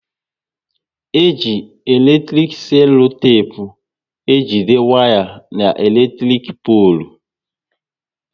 E ji eletrik selotepu ejide waya n'elektrik polu